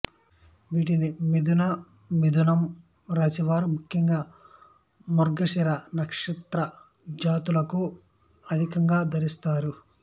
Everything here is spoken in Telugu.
వీటిని మిధునమిధునం రాశివారు ముఖ్యంగా మృగశిర నక్షత్రజాతకులు అధికంగా ధరిస్తారు